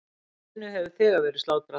Fénu hefur þegar verið slátrað.